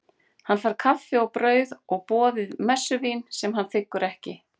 Hann fær kaffi og brauð, og boðið messuvín sem hann þiggur ekki.